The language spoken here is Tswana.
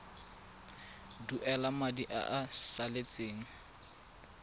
duela madi a a salatseng